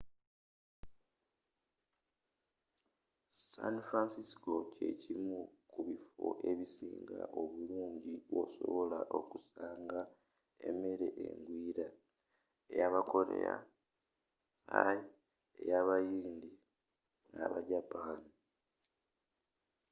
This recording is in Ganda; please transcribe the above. san francisco kye kimu ku biffo ebisinga obulungi wosobola okusanga emmere engwiira eya aba korea thai eya abayindi ne aba japaani